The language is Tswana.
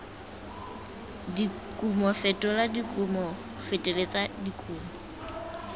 dikumo fetola dikumo feleletsa dikumo